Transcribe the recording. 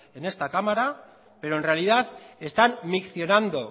en esta cámara pero en realidad están miccionando